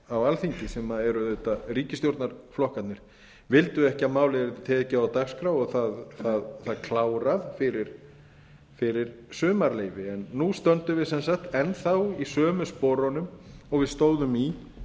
á alþingi sem er auðvitað ríkisstjórnarflokkarnir vildu ekki að málið yrði tekið á dagskrá og það klárað fyrir sumarleyfi en núna stöndum við sem sagt enn þá í sömu sporunum og við stóðum í